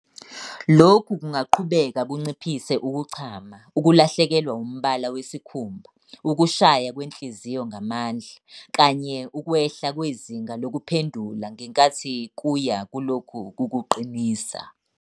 Lokhu kungaqhubeka kunciphise ukuchama, ukulahlekelwa umbala wesikhumba, ukushaya kwenhliziyo ngamandla, kanye ukwehla kwezinga lokuphendula ngenkathi kuya kulokhu kukuqinisa.